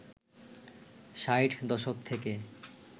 ৬০ দশক থেকে